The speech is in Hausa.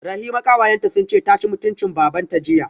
Rahima kawayenta sunce taci mutuncin babanta jiya